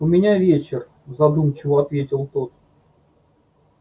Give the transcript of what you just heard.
у меня вечер задумчиво ответил тот